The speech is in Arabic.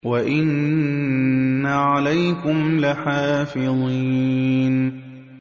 وَإِنَّ عَلَيْكُمْ لَحَافِظِينَ